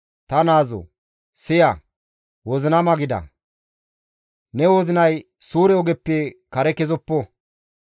Ta naazoo! Siya; wozinama gida; ne wozinay suure ogeppe kare kezoppo.